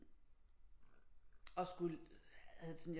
Og skulle havde det sådan